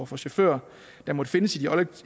for chauffører der måtte findes